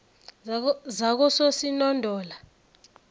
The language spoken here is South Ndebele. zakososinondola